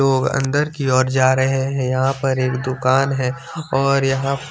तो अन्दर की और जा रहे है यहाँ पर एक दूकान है और यहाँ--